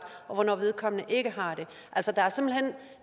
og hvornår vedkommende ikke har det